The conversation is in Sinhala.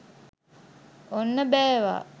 ඔන්න බෑවා!